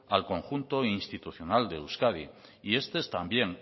al conjunto institucional de euskadi y este es también